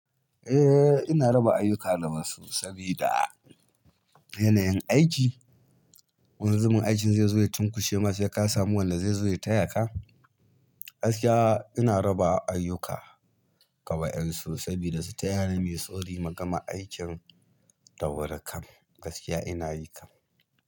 Eh ina raba ayuka da wasu sabida yanayin aiki. Wanzamin aikin zai zo ya tunkushe ma sai ka samu wanda zai zo ya taya ka. Gaskiya ina raba ayuka ga waƴansu sabida su tayani muyi sauri mu gama aikin da wuri kam. Gaskiya ina yi kam.